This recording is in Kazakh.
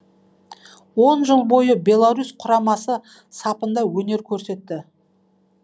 он жыл бойы беларусь құрамасы сапында өнер көрсетті